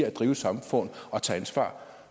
at drive et samfund og tage ansvar